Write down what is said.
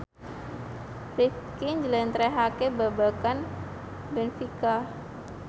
Rifqi njlentrehake babagan benfica